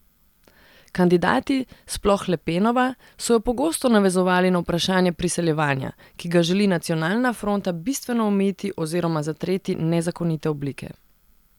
Kandidati, sploh Le Penova, so jo pogosto navezovali na vprašanje priseljevanja, ki ga želi Nacionalna fronta bistveno omejiti oziroma zatreti nezakonite oblike.